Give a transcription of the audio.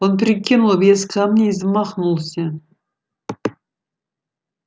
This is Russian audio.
он прикинул вес камня и замахнулся